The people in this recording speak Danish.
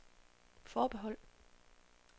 forbehold